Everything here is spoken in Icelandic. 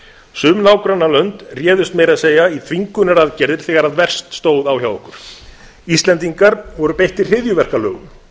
sum nágrannalönd réðust meira að segja í þvingunaraðgerðir þegar verst stóð á hjá okkur íslendingar voru beittir hryðjuverkalögum